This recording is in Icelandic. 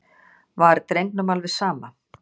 Var drengnum alveg sama?